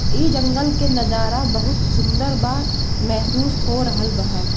ए जंगल के नजारा बहुत सुंदर बा महसूस हो रहेल बा।